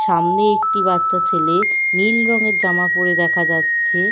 সামনে একটি বাচ্চা ছেলে নীল রঙের জামা পরে দেখা যাচ্ছে।